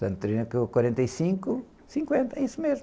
quarenta e cinco, cinquenta, é isso mesmo.